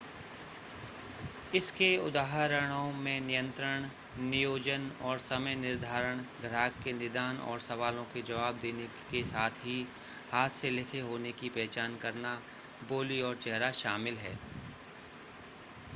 इसके उदाहरणों में नियंत्रण नियोजन और समय निर्धारण ग्राहक के निदान और सवालों के जवाब देने के साथ ही हाथ से लिखे होने की पहचान करना बोली और चेहरा शामिल है